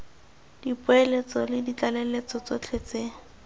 dipoeletso le ditlaleletso tsotlhe tse